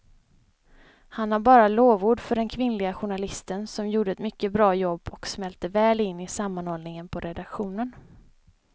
Han har bara lovord för den kvinnliga journalisten som gjorde ett mycket bra jobb och smälte väl in i sammanhållningen på redaktionen.